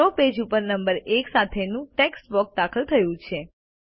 draw page ઉપર number 1 સાથેનું text box દાખલ થયું છે